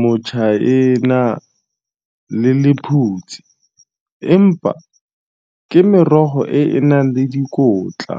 motšhaena le lephutsi empa ke merogo e e nang le dikotla.